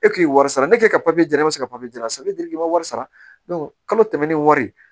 E k'i ye wari sara ne k'e ka jra ne bɛ se ka san n bɛ giriki m'a wari sara kalo tɛmɛnen ni wari